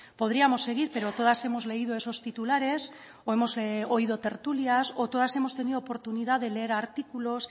podríamos seguir pero todas hemos leído esos titulares o hemos oído tertulias o todas hemos tenido oportunidad de leer artículos